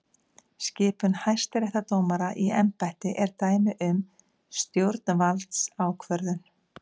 Skipun hæstaréttardómara í embætti er dæmi um stjórnvaldsákvörðun.